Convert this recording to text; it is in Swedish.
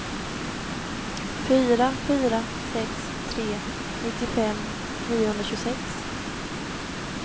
fyra fyra sex tre nittiofem niohundratjugosex